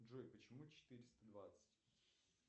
джой почему четыреста двадцать